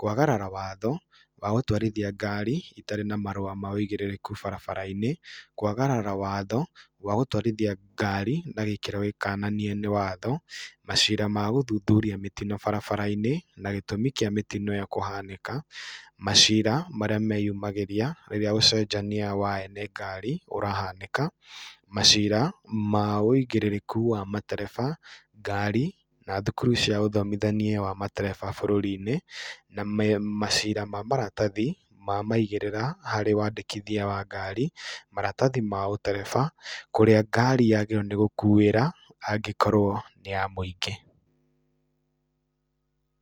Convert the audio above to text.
kwagarara watho wa gũtwarithia ngari itarĩ na marũa ma ũigĩrĩrĩku barabara-inĩ, kwagarara watho wa gũtwarithia ngari na gĩkĩro gĩkananie nĩ watho, macira ma gũthuthuria mĩtino barabara-inĩ na gĩtũmĩ kĩa mĩtino ĩyo kũhanĩka, macira maria meyumagĩria rĩrĩa ũcenjania wa ene ngari ũrahanĩka, macira ma ũigĩrĩrĩku wa matereba, ngari na thukuru cia ũthomithania wa matereba bũrũri-inĩ na me macira ma maratathi ma maigĩrĩra harĩ wandĩkithia wa ngari, maratathi ma ũtereba, kũrĩa ngari yagĩrĩirwo nĩ gũkuĩra angĩkorwo nĩ ya mũingĩ.